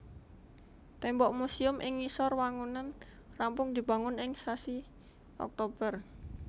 Témbok musèum ing ngisor wangunan rampung dibangun ing sasi Oktober